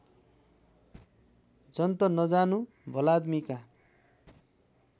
जन्त नजानु भलाद्‌मीका